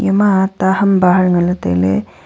ema ta ham bahar ngan ley tai ley.